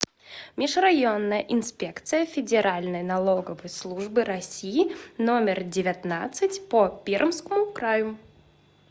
межрайонная инспекция федеральной налоговой службы россии номер девятнадцать по пермскому краю